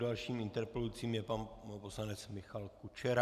Dalším interpelujícím je pan poslanec Michal Kučera.